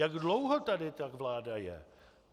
Jak dlouho tady ta vláda je?